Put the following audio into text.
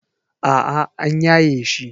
A'a an yaye shi.